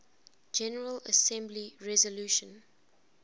general assembly resolution